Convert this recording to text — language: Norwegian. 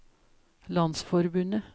landsforbundet